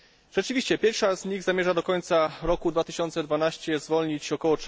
Rzeczywiście pierwsze z nich zamierza do końca roku 2012 zwolnić ok.